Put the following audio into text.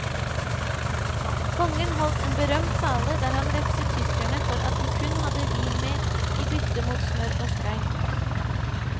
Kongen holdt en berømt tale der han refset tyskerne for at de kun hadde vin med i bytte mot smør og skrei.